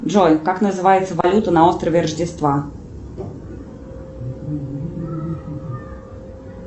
джой как называется валюта на острове рождества